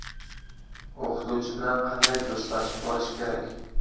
O‘qituvchi bilan qanday do‘stlashib olish kerak?.